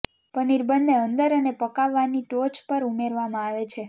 પનીર બન્ને અંદર અને પકવવાની ટોચ પર ઉમેરવામાં આવે છે